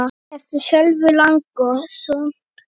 eftir Sölva Logason